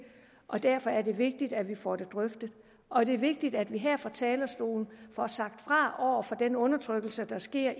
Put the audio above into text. og derfor er det vigtigt at vi får det drøftet og det er vigtigt at vi her fra talerstolen får sagt fra over for den undertrykkelse der sker